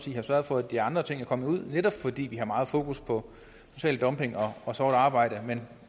har sørget for at de andre ting er kommet ud netop fordi vi har meget fokus på social dumping og og sort arbejde men